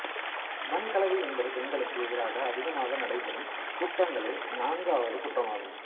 வன்கலவி என்பது பெண்களுக்கு எதிராக அதிகமாக நடைபெறும் குற்றங்களில் நான்காவது குற்றமாகும்